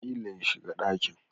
Ƙila ya shiga dakin